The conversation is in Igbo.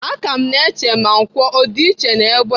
Aka m na-eche ma nkwọ ọ dị iche n'egbe..